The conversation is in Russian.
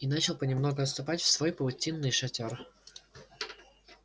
и начал понемногу отступать в свой паутинный шатёр